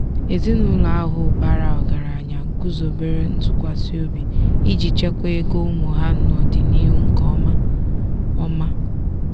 ezinụlọ ahụ bara ọgaranya guzobere ntụkwasịobi iji chekwaa ego ụmụ ha n'ọdịnihu nke ọma. ọma.